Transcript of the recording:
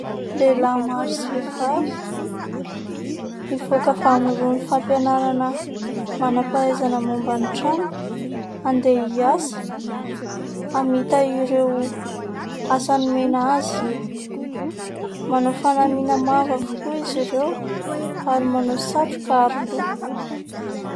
Lehilahy maro sy vehivavy nivoaka avy amin'irony fampianarana manam-pahaizana momba ny trano, andeha hiasa, hamita ireo asa nomena azy. Manao fanamiana mavo avokoa izy ireo ary manao satroka aroloha.